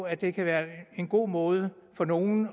at det kan være en god måde for nogle